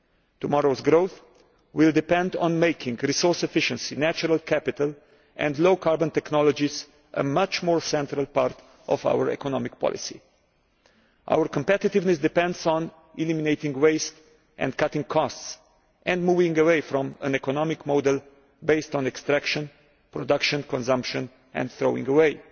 Tomorrow's growth will depend on making resource efficiency, natural capital and low carbon technologies a much more central part of our economic policy. Our competitiveness depends on eliminating waste and cutting costs, and moving away from an economic model based on extraction, production, consumption and throwing away.